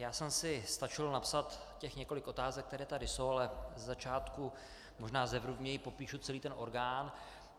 Já jsem si stačil napsat těch několik otázek, které tady jsou, ale ze začátku možná zevrubněji popíšu celý ten orgán.